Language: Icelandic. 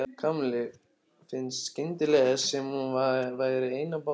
Kamillu fannst skyndilega sem hún væri ein á báti.